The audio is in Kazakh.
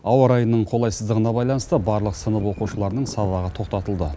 ауа райының қолайсыздығына байланысты барлық сынып оқушыларының сабағы тоқтатылды